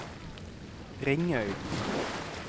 Ringøy